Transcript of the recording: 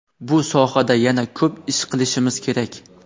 bu sohada yana ko‘p ish qilishimiz kerak.